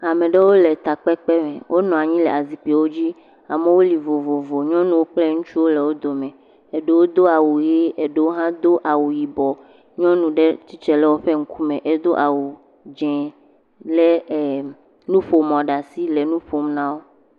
Ame ɖewo le takpekpe me, wonɔ anyi le azikpuiwo dzi, amewo li vovovo, ŋutsuwo kpli nyɔnuwo le wo dome, eɖewo do awu ʋe, eɖewo hã do awu yibɔ, nyɔnu ɖe tsitre ɖe woƒe ŋkume edo awu dze lé em, nuƒomɔ ɖe asi le nu ƒom na wo.